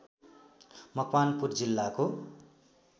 मकवानपुर जिल्लाको